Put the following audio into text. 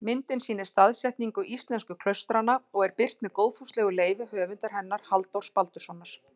Myndin sýnir staðsetningu íslensku klaustranna og er birt með góðfúslegu leyfi höfundar hennar, Halldórs Baldurssonar.